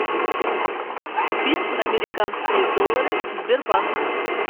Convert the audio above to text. купить американские доллары сбербанк